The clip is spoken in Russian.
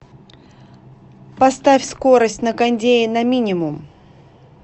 поставь скорость на кондее на минимум